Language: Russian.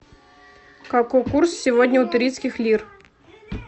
какой курс сегодня у турецких лир